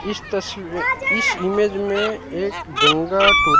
इस तस्वी इस इमेज मे एक गंगा टो--